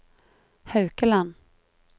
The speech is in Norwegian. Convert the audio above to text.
Haukeland